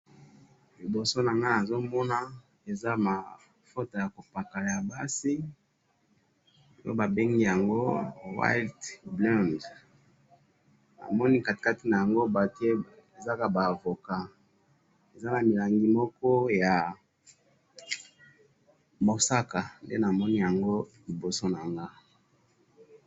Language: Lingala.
liboso nangai nazomona eza mavuta ya kopakala ya basi nde babengi yango whole blends omoni katikati yango batie ezaka ba avocats eza na rangi moko ya musaka nde namoni yango liboso nanga